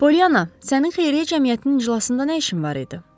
Polyanna, sənin xeyriyyə cəmiyyətinin iclasında nə işin var idi?